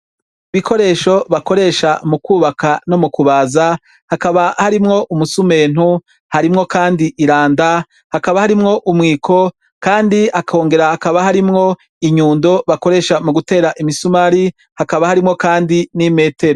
Ibikoresho bakoresha mu kubaka no mu kubaza hakaba harimwo umusumeno, harimwo kandi iranda, hakaba harimwo umwiko kandi hakongera hakaba harimwo inyundo bakoresha mu gutera imisumari, hakaba harimwo kandi n'imetero.